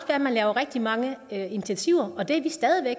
at man laver rigtig mange initiativer og det er vi stadig væk